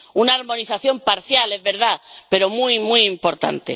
Una armonización parcial, es verdad, pero muy, muy importante.